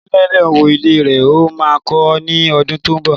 Onílé náà wó ilé rẹ̀. Ó máa kọ ní ọdún tó ń bọ̀.